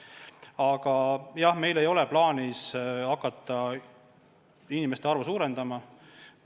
Aga jah, meil ei ole plaanis hakata inimeste arvu suurendama.